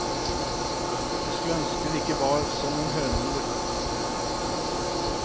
Jeg skulle ønske hun ikke var sånn en hønemor.